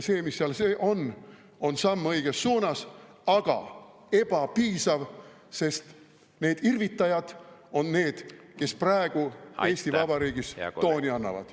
See, mis seal on, on samm õiges suunas, aga ebapiisav, sest need irvitajad on need, kes praegu Eesti Vabariigis tooni annavad.